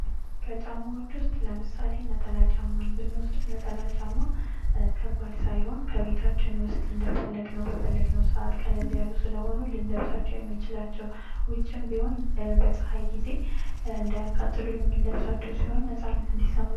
ከጨማዎች ውስጥ ለምሳሌ ነጠላ ጫማን ብንወስድ ነጠላ ጫማ ከባድ ሳይሆን በቤታችን ውስጥ እንደፈለግነው በፈለግነው ሰዓት ቀልድ ያሉ ስለሆኑ ልንለብሳቸው የምንችላቸው ውጭም ቢሆን በፀሃይ ጊዜ እንዳያቃጥሉን የምንለብሳቸው ሲሆን ነፃነት እንዲሰማን